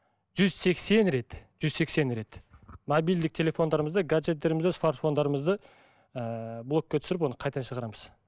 жүз сексен рет жүз сексен рет мобильдік телефондарымызды гаджеттерімізді смартфондарымызды ыыы блокке түсіріп оны қайтадан шығарамыз